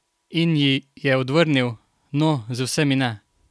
In ji je odvrnil: "No, z vsemi ne.